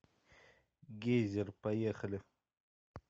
гейзер поехали